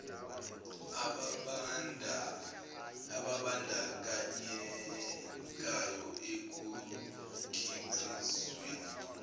ababan dakanyekayo ekukhiqizweni